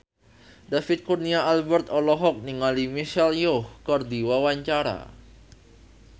David Kurnia Albert olohok ningali Michelle Yeoh keur diwawancara